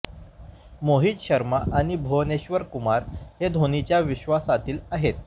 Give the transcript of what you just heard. मोहित शर्मा आणि भुवनेश्वर कुमार हे धोनीच्या विश्वासातील आहेत